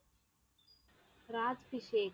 ராஜ்ஸிபேட்.